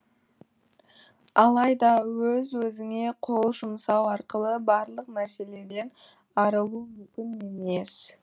алайда өз өзіңе қол жұмсау арқылы барлық мәселеден арылу мүмкін емес